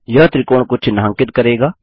यह त्रिकोण को चिन्हांकित करेगा